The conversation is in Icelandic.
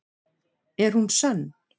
Er hún sönn?